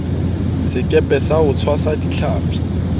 sekepe sa ho tshwasa ditlhapi